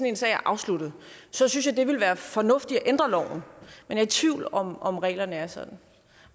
en sag er afsluttet så synes jeg det ville være fornuftigt at ændre loven jeg er i tvivl om om reglerne er sådan